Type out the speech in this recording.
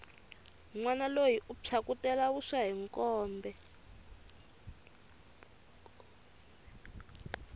nwana loyi u phyakutela vuswa hi mkombe